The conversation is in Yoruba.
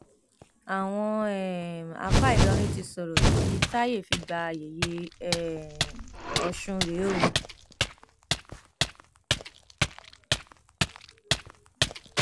àwọn um àáfàá ìlọrin ti sọrọ ìdí táàyè fi gba yẹyẹ um ọsùn rèé o